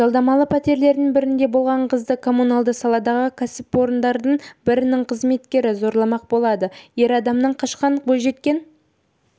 жалдамалы пәтерлердің бірінде болған қызды коммуналдық саладағы кәсіпорындардың бірінің қызметкері зорламақ болады ер адамнан қашқан бойжеткен